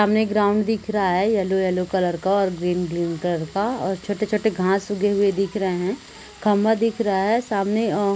सामने ग्राउंड दिख रहा है येलो येलो कलर का और ग्रीन ग्रीन कलर का और छोटे छोटे घास उगे हुए दिख रहे है खंभा दिख रहा है सामने अ--